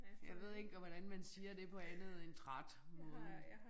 Jeg ved ikke hvordan man siger det på andet end træt måden